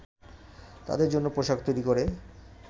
তাদের জন্য পোশাক তৈরি করে